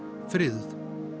friðuð